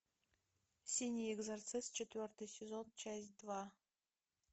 синий экзорцист четвертый сезон часть два